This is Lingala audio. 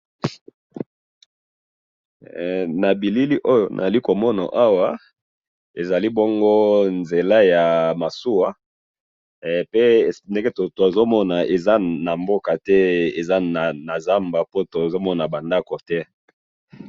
he na bilili oyo nazali komona awa ezali bongo nzela ya masuwa he pe ndenge tozomona eza na mboka te eza na zamba po tozomona ba ndaku te.